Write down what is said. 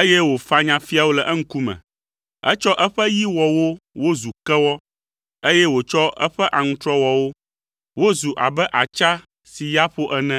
eye wòfanya fiawo le eŋkume. Etsɔ eƒe yi wɔ wo wozu kewɔ, eye wòtsɔ eƒe aŋutrɔ wɔ wo wozu abe atsa si ya ƒo ene.